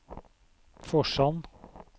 Forsand